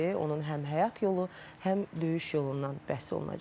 Onun həm həyat yolu, həm döyüş yolundan bəhs olunacaq.